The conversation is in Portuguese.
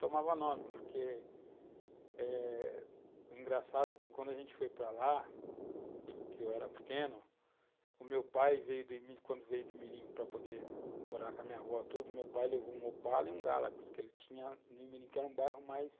tomava nome, porque eh engraçado que quando a gente foi para lá, que eu era pequeno, o meu pai veio do, quando veio do Imirim para poder morar com a minha avó tudo, meu pai levou um Opala e um Galax, que ele tinha no Imirim, que era um bairro mais